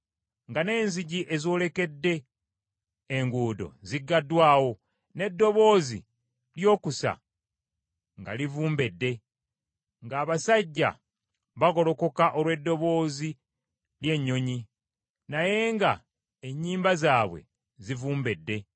nga n’enzigi ez’olekedde enguudo zigaddwawo, n’eddoboozi ly’okusa nga livumbedde; ng’abasajja bagolokoka olw’eddoboozi ly’ennyonyi, naye nga ennyimba zaabwe zivumbedde;